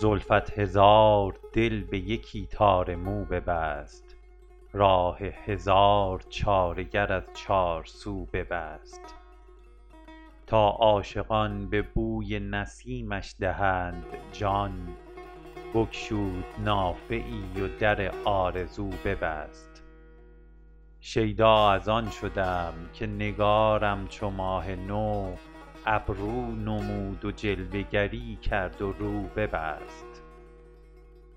زلفت هزار دل به یکی تار مو ببست راه هزار چاره گر از چارسو ببست تا عاشقان به بوی نسیمش دهند جان بگشود نافه ای و در آرزو ببست شیدا از آن شدم که نگارم چو ماه نو ابرو نمود و جلوه گری کرد و رو ببست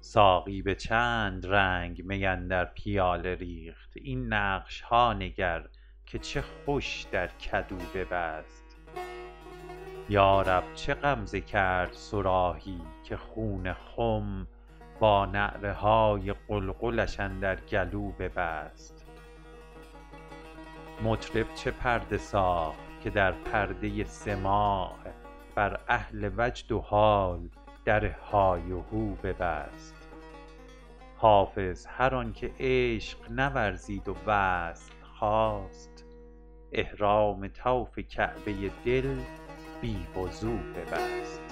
ساقی به چند رنگ می اندر پیاله ریخت این نقش ها نگر که چه خوش در کدو ببست یا رب چه غمزه کرد صراحی که خون خم با نعره های قلقلش اندر گلو ببست مطرب چه پرده ساخت که در پرده سماع بر اهل وجد و حال در های وهو ببست حافظ هر آن که عشق نورزید و وصل خواست احرام طوف کعبه دل بی وضو ببست